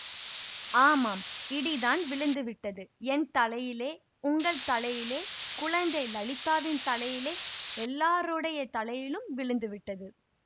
ஆமாம் இடிதான் விழுந்து விட்டது என் தலையிலே உங்கள் தலையிலே குழந்தை லலிதாவின் தலையிலே எல்லாருடைய தலையிலும் விழுந்து விட்டது